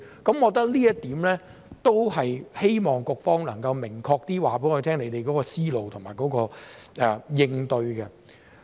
我覺得這一點都是希望局方能夠明確說出你們的思路及應對。